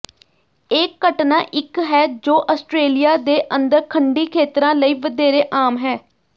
ਇਹ ਘਟਨਾ ਇਕ ਹੈ ਜੋ ਆਸਟ੍ਰੇਲੀਆ ਦੇ ਅੰਦਰ ਖੰਡੀ ਖੇਤਰਾਂ ਲਈ ਵਧੇਰੇ ਆਮ ਹੈ